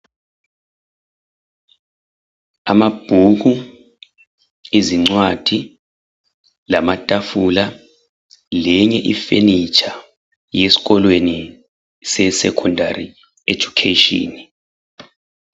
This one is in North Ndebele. Amabhuku ,izincwadi lamatafula lenye I furniture yeskolweni se secondary education .